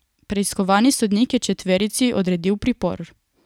Preiskovalni sodnik je četverici odredil pripor.